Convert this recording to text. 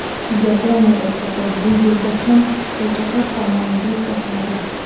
Yaponiyadagi kabi, bu yerda ham choychaqa taomnomaga kiritiladi.